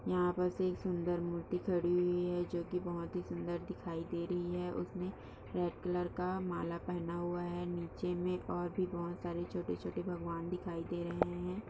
यहा पर से सुंदर मूर्ति खड़ी है जो की बहुत ही सुंदर दिखाई दे रही है और उसमे रेड कलर का माला पेहना हुआ है नीचे मे और भी बहोत सारे छोटे-छोटे भगवान् दिखाई दे रहे है ।